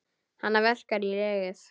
Hana verkjar í legið.